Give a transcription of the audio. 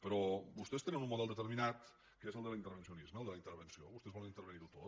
però vostès tenen un model determinat que és el de l’intervencionisme el de la intervenció vostès volen intervenir ho tot